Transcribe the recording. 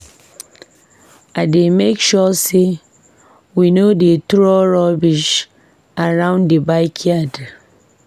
I dey make sure say we no dey throw rubbish around the backyard.